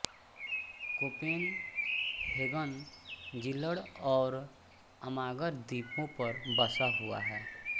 Copenhagen Zealand और Amager द्वीपों पर बसा हुआ है